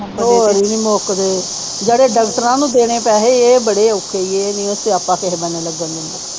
ਹੋਰ ਈ ਨਹੀਂ ਮੁਕਦੇ ਜਿਹੜੇ ਡਾਕਟਰਾਂ ਨੂੰ ਦੇਣੇ ਪੈਸੇ ਇਹ ਬਾਰੇ ਔਖੇ ਈ ਏ ਇਹ ਨਹੀਂ ਓ ਸਿਆਪਾ ਕਿਹੇ ਬੰਨੇ ਲਗਨ ਦਿੰਦਾ।